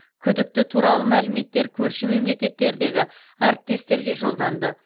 күдікті туралы мәліметтер көрші мемлекеттердегі әріптестерге жолданды